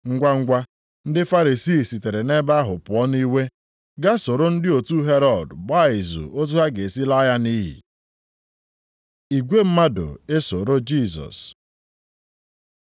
Ngwangwa, ndị Farisii sitere nʼebe ahụ pụọ nʼiwe. Gaa soro ndị otu Herọd gbaa izu otu ha ga-esi laa ya nʼiyi. Igwe mmadụ esoro Jisọs